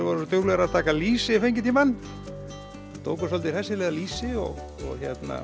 voru svo duglegar að taka lýsi yfir fengitímann tóku svolítið hressilega lýsi og